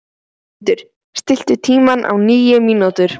Magnhildur, stilltu tímamælinn á níu mínútur.